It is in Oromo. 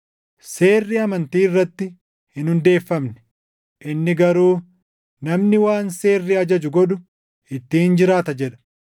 Seerri amantii irratti hin hundeeffamne; inni garuu, “Namni waan seerri ajaju godhu ittiin jiraata” + 3:12 \+xt Lew 18:5\+xt* jedha.